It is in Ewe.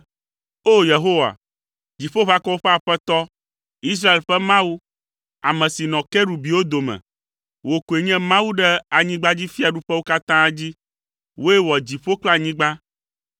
“O! Yehowa, Dziƒoʋakɔwo ƒe Aƒetɔ, Israel ƒe Mawu, ame si nɔ kerubiwo dome, wò koe nye Mawu ɖe anyigbadzifiaɖuƒewo katã dzi. Wòe wɔ dziƒo kple anyigba.